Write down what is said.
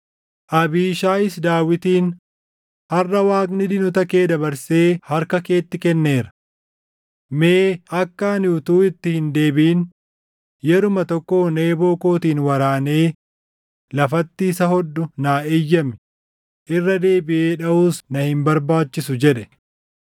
Abiishaayis Daawitiin, “Harʼa Waaqni diinota kee dabarsee harka keetti kenneera. Mee akka ani utuu itti hin deebiʼin yeruma tokkoon eeboo kootiin waraanee lafatti isa hodhu naa eeyyami; irra deebiʼee dhaʼuus na hin barbaachisu” jedhe.